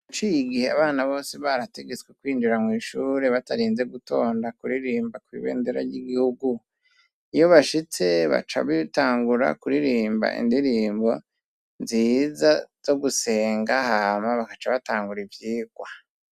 Haciye gihe abana bose barategetswe kwinjira mwishure batarinze gutonda kuririmba ku ibendera ry'igihugu iyo bashitse bacabitangura kuririmba indirimbo nziza zo gusenga hama bakacabatangura ibyigwa